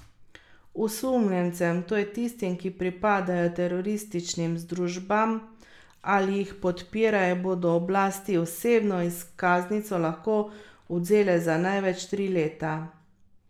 Osumljencem, to je tistim, ki pripadajo terorističnim združbam ali jih podpirajo, bodo oblasti osebno izkaznico lahko odvzele za največ tri leta.